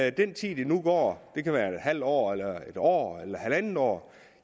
i den tid der nu går det kan være et halvt år eller et år eller halvandet år